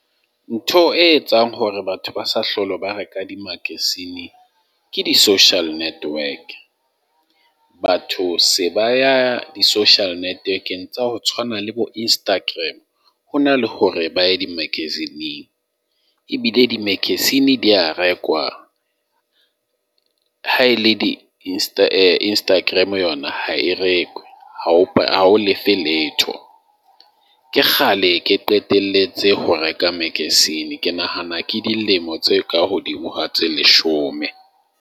Ntho e etsang hore batho ba sa hlolo ba reka dimakasine ke di-social network. Batho se ba ya di-social networking tsa ho tshwana le bo-Instagram, ho na le hore ba ye di-magazine-ng ebile di-magazine di a re kwa. Haele di Instagram yona ha e rekwe, ha o lefe letho. Ke kgale ke qetelletse ho reka magazine, ke nahana ke dilemo tse ka hodimo ha tse leshome.